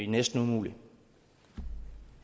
næsten umuligt